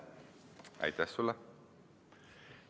Aitäh sulle!